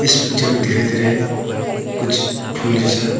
इस पिक्चर में दिखाई दे रहा है कुछ फूल जैसा।